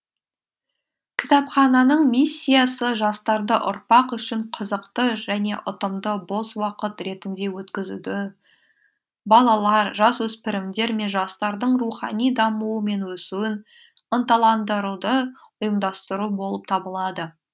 кітапхананың миссиясы жастарды ұрпақ үшін қызықты және ұтымды бос уақыт ретінде өткізуді балалар жасөспірімдер мен жастардың рухани дамуы мен өсуін ынталандыруды ұйымдастыру болып табылады